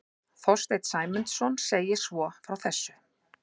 Þorsteinn Sæmundsson segir svo frá þessu: